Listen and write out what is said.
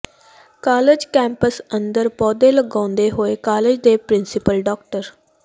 college campus ਅੰਦਰ ਪੌਦੇ ਲਗਾਉਂਦੇ ਹੋਏ ਕਾਲਜ ਦੇ ਪ੍ਰਿੰਸੀਪਲ ਡਾ